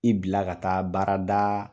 I bila ka taa baarada